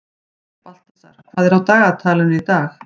Baltasar, hvað er á dagatalinu í dag?